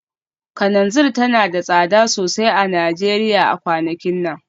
Kananzir tana da tsada sosai a Najeriya a kwanakin nan